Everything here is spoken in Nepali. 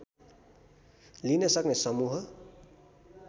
लिन सक्ने समूह